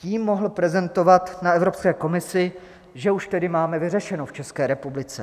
Tím mohl prezentovat na Evropské komisi, že už tedy máme vyřešeno v České republice.